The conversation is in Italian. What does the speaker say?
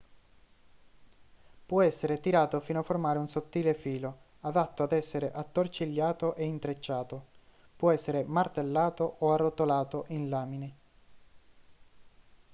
può essere tirato fino a formare un sottile filo adatto ad essere attorcigliato e intrecciato può essere martellato o arrotolato in lamine